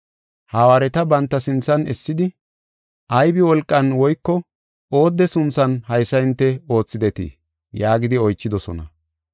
Hawaareta banta sinthan essidi, “Aybi wolqan woyko oodde sunthan haysa hinte oothidetii?” yaagidi oychidosona.